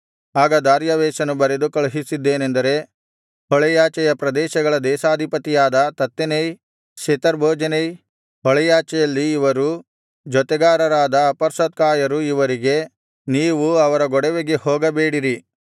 ಆಗ ದಾರ್ಯಾವೆಷನು ಬರೆದು ಕಳುಹಿಸಿದ್ದೇನೆಂದರೆ ಹೊಳೆಯಾಚೆಯ ಪ್ರದೇಶಗಳ ದೇಶಾಧಿಪತಿಯಾದ ತತ್ತೆನೈ ಶೆತರ್ಬೋಜೆನೈ ಹೊಳೆಯಾಚೆಯಲ್ಲಿ ಇವರು ಜೊತೆಗಾರರಾದ ಅಪರ್ಸತ್ಕಾಯರು ಇವರಿಗೆ ನೀವು ಅವರ ಗೊಡವೆಗೆ ಹೋಗಬೇಡಿರಿ